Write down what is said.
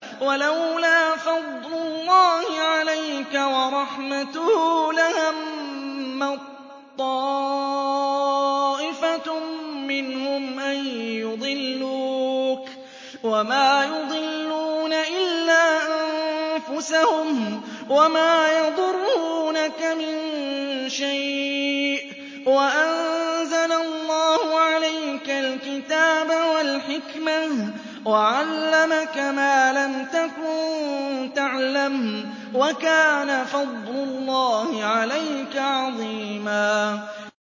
وَلَوْلَا فَضْلُ اللَّهِ عَلَيْكَ وَرَحْمَتُهُ لَهَمَّت طَّائِفَةٌ مِّنْهُمْ أَن يُضِلُّوكَ وَمَا يُضِلُّونَ إِلَّا أَنفُسَهُمْ ۖ وَمَا يَضُرُّونَكَ مِن شَيْءٍ ۚ وَأَنزَلَ اللَّهُ عَلَيْكَ الْكِتَابَ وَالْحِكْمَةَ وَعَلَّمَكَ مَا لَمْ تَكُن تَعْلَمُ ۚ وَكَانَ فَضْلُ اللَّهِ عَلَيْكَ عَظِيمًا